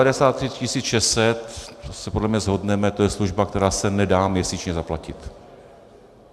A 93 600, to se podle mě shodneme, to je služba, která se nedá měsíčně zaplatit.